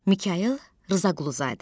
Mikayıl Rzaquluzadə.